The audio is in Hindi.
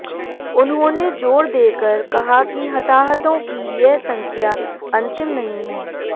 उन्होंने जोर देकर कहा कि हताहतों की यह संख्या अंतिम नहीं है